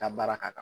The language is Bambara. Ka baara ka kan